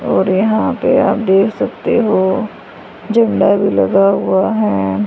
और यहां पे आप देख सकते हो झंडा भी लगा हुआ है।